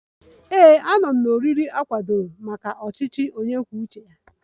Ee, anọ m na oriri a kwadebere maka ndị ọchịchị onye kwuo uche ya